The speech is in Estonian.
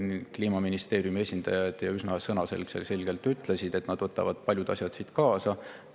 Kliimaministeeriumi esindajad üsna sõnaselgelt ütlesid, et nad võtavad paljud asjad siit kaasa.